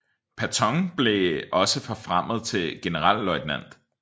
Patton blev også forfremmet til generalløjtnant